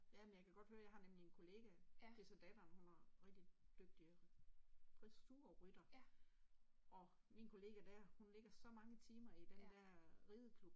Ja, men jeg kan godt høre, jeg har nemlig en kollega det så datteren, hun har rigtig dygtig dressurrytter og min kollega der hun lægger så mange timer i den der rideklub